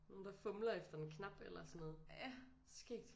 Nogen der fumler efter en knap eller sådan noget skægt